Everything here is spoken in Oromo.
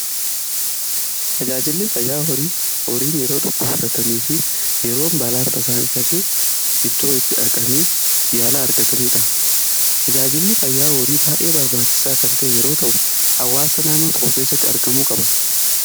Tajaajilli fayyaa horii horiin yeroo dhukkubsatanii fi yeroo balaan tasaa irra ga'e iddoo itti dhaqanii yaalaa argatanidha. Tajaajilli fayyaa horii baay'ee barbaachisaa kan ta'e yeroo ta'u, hawaasa naannoo tokko keessatti argamuu qaba.